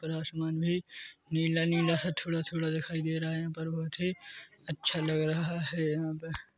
ऊपर आसमान भी नीला-नीला सा थोड़ा-थोड़ा दिखाई दे रहा हैं यहाँ पर बहुत ही अच्छा लग रहा हैं यहाँ पे--